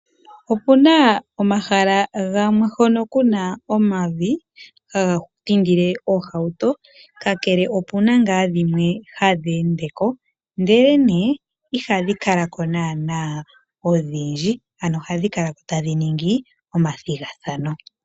Opuna omahala gamee hono kuna omavi haga tindile oohauto, ka kele opuna ngaa dhimwe hadhi endeko ndele nee ihadhi kala ko naana odhindji, ano ohadhi kalako tadhi ningi omathigathano.